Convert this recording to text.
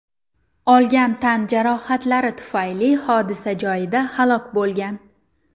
olgan tan jarohatlari tufayli hodisa joyida halok bo‘lgan.